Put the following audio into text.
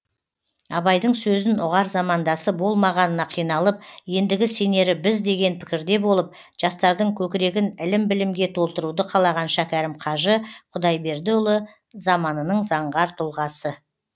абайдың сөзін ұғар замандасы болмағанына қиналып ендігі сенері біз деген пікірде болып жастардың көкірегін ілім білімге толтыруды қалаған шәкәрім қажы құдайбердіұлы заманының заңғар тұлғасы